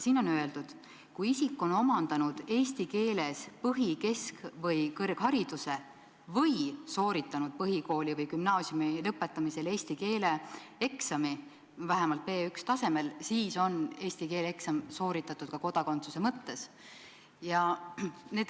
Siin on öeldud, et kui isik on omandanud eesti keeles põhi-, kesk- või kõrghariduse või sooritanud põhikooli või gümnaasiumi lõpetamisel eesti keele eksami vähemalt B1-tasemel, siis on eesti keele eksam sooritatud ka kodakondsuse mõttes.